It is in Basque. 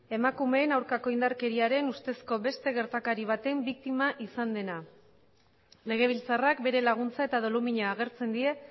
emakumeen aurkako indarkeriaren ustezko beste gertakari baten biktima izan dena legebiltzarrak bere laguntza eta dolumina agertzen die